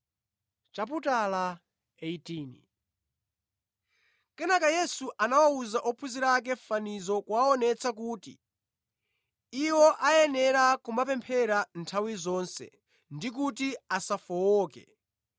Kenaka Yesu anawuza ophunzira ake fanizo kuwaonetsa kuti iwo ayenera kumapemphera nthawi zonse ndikuti asafowoke.